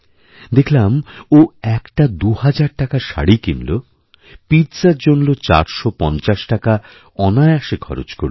দেখলাম ও একটাদুহাজার টাকার শাড়ি কিনল পিৎজার জন্য ৪৫০ টাকা অনায়াসে খরচ করল